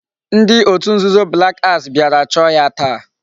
Ndi otu nzuzo black axe biara choo ya taa